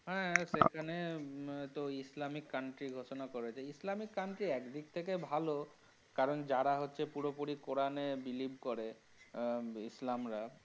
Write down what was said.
হা সেখানে তো islamic country ঘোষণা করেছে, islamic country এক দিক থেকে ভালো কারণ যারা হচ্ছে পুরোপুরি Koran এ believe করে হমম islam রা।